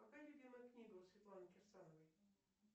какая любимая книга у светланы кирсановой